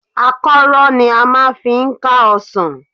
Àkọ́rọ́ ni a máa fi ń ká ọsàn.